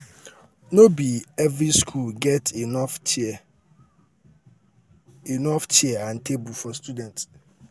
no be um every school get enough um chair enough um chair and table for students um